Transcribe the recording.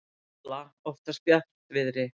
gola oftast bjartviðri.